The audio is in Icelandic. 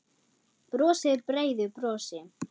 Brosir breiðu brosi.